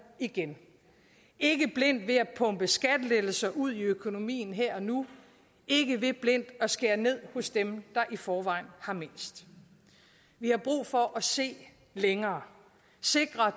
igen ikke blindt ved at pumpe skattelettelser ud i økonomien her og nu ikke ved blindt at skære ned hos dem der i forvejen har mindst vi har brug for at se længere sikre at